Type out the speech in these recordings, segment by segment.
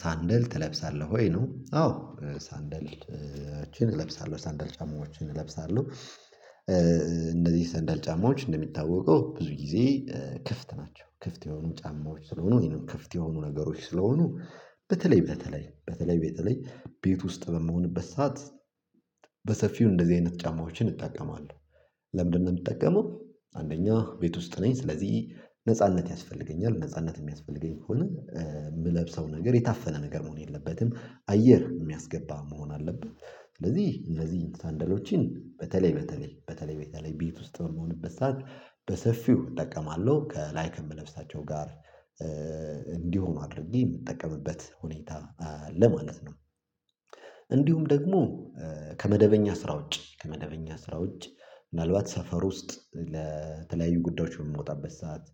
ሳንደል ትለብሳለህ ወይ? ነው አዎ! ሳንደልሎችን እለብሳለሁ ሳንደል ጫማዎችን እለብሳለሁ። እንደዚህ ሰንደል ጫማዎች እንደሚታወቀው ብዙ ጊዜ ክፍት ናቸው። ክፍት የሆኑ ጫማዎች ስለሆኑ ይሄንን ክፍት የሆኑ ነገሮች ስለሆኑ በተለይ በተለይ በተለይ በተለይ ቤት ውስጥ በምሆንበት ሰዓት በሰፊው እንደዚህ አይነት ጫማዎችን እጠቀማለሁ። ለምንድነው የምጠቀመው? አንደኛ ቤት ውስጥ ነኝ ስለዚህ ነጻነት ያስፈልገኛል ነጻነት የሚያስፈልገኝ ከሆነ የምለብሰው ነገር የታፈነ ነገር መሆን የለበትም። አየር የሚያስገባ መሆን አለበት ስለዚህ እንደዚህ ሳንደሎችን በተለይ በተለይ በተለይ በተለይ ቤት ውስጥ በምሆንበት ሰዓት በሰፊው እጠቀማለሁ ከላይ ከምለብሳቸው ጋር እንዲሆኑ አድርጌ የምጠቀምበት ሁኔታ ለማለት ነው እንዲሁም ደግሞ ከመደበኛ ስራ ውጪ ከመደበኛ ስራ ውጪ ምናልባት ሰፈር ውስጥ ለተለያዩ ጉዳዮች የምወጣበት ሰዓት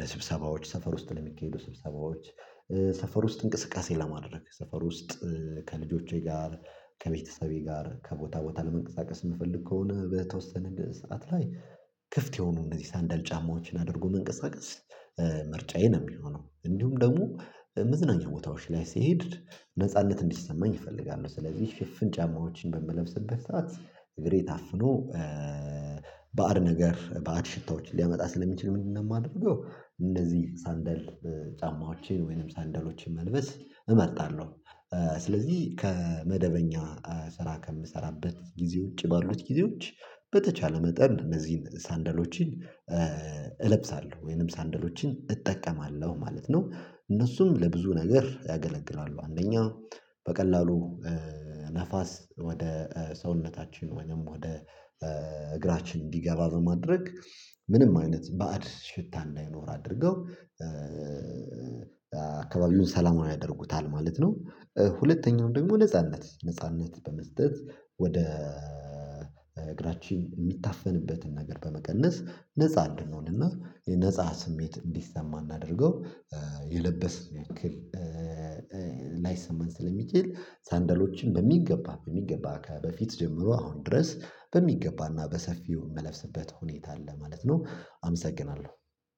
ለስብሰባዎች፣ ሰፈር ውስጥ ለሚካሄዱ ስብሰባዎች፣ ሰፈር ውስጥ እንቅስቃሴ ለማድረግ፣ ሰፈር ውስጥ ከልጆቼ ጋር ከቤተሰቤ ጋር ከቦታ ቦታ ለመንቀሳቀስ የምፈልግ ከሆነ በተወሰነ ሰዓት ላይ ክፍት የሆኑ እንደዚህ ሳንዳል ጫማዎችን አድርጎ መንቀሳቀስ ምርጫዬ ነው የሚሆነው እንዲሁም ደግሞ መዝናኛ ቦታዎች ላይ ስሄድ ነጻነት እንዲሰማኝ እፈልጋለሁ። ስለዚህ ሽፍን ጫማዎችን በምለብስበት ሰዓት እግሬ ታፍኖ ባዕድ ነገር ባዕድ ሽታዎችን ሊያመጣ ስለሚችል ምንድነው የማደርገው እንደዚህ ሳንደል ጫማዎችን ወይንም ሳንደሎችን መልበስ እመርጣለሁ። ስለዚህ ከመደበኛ ስራ ከምሰራበት ጊዜ ውጪ ባሉት ጊዜዎች በተቻለ መጠን እነዚህን ሳንደሎችን እለብሳለሁ ወይንም ሳንደሎችን እጠቀማለሁ ማለት ነው። እነሱም ለብዙ ነገር ያገለግላሉ አንደኛ በቀላሉ ነፋስ ወደ ሰውነታችን ወይም ወደ እግራችን እንዲገባ በማድረግ ምንም አይነት ባዕድ ሽታ እንዳይኖር አድርገው አካባቢውን ሰላም ያደርጉታል ማለት ነው። ሁለተኛው ደግሞ ነጻነት ነጻነት በመስጠት ወደ እግራችን የሚታፈንበትን ነገር በመቀነስ ነፃ እንድንሆንና የነፃ ስሜት እንዲሰማ አድርገው የለበሰን ያክል ላይሰማን ስለሚችል ሳንደሎችን በሚገባ በሚገባ ከበፊት ጀምሮ አሁን ድረስ በሚገባና በሰፊው የምለብስበት ሁኔታ አለ ማለት ነው። አመሰግናለሁ።